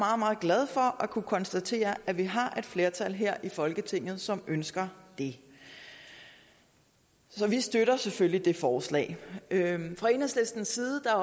og at kunne konstatere at vi har et flertal her i folketinget som ønsker det så vi støtter selvfølgelig det forslag fra enhedslistens side er